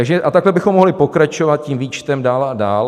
A takhle bychom mohli pokračovat tím výčtem dál a dál.